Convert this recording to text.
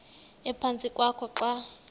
ephantsi kwakho xa